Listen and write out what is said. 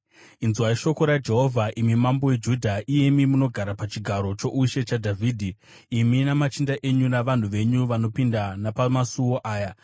‘Inzwai shoko raJehovha, imi mambo weJudha, iyemi munogara pachigaro choushe chaDhavhidhi, imi namachinda enyu navanhu venyu vanopinda napamasuo aya.